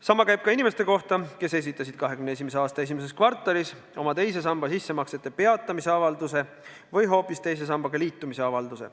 Sama käib inimeste kohta, kes esitasid 2021. aasta esimeses kvartalis oma teise samba sissemaksete peatamise avalduse või hoopis teise sambaga liitumise avalduse.